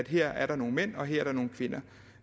her er nogle mænd og her er nogle kvinder